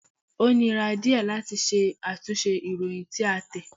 Ó nira díẹ̀ láti ṣe àtúnṣe ìròyìn tí a tẹ̀.